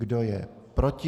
Kdo je proti?